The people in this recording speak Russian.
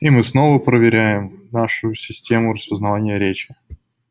и мы снова проверяем нашу систему распознавания речи